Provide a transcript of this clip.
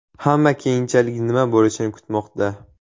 Hamma keyinchalik nima bo‘lishini kutmoqda.